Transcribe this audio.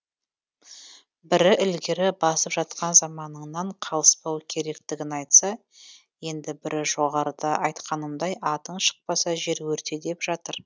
бірі ілгері басып жатқан заманныңнан қалыспау керектігін айтса енді бірі жоғарыда айтқанымдай атың шықпаса жер өрте деп жатыр